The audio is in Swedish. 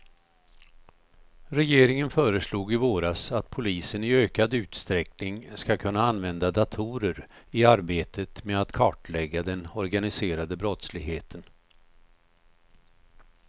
Regeringen föreslog i våras att polisen i ökad utsträckning ska kunna använda datorer i arbetet med att kartlägga den organiserade brottsligheten.